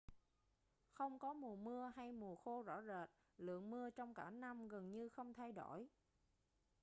không có mùa mưa hay mùa khô rõ rệt lượng mưa trong cả năm gần như không thay đổi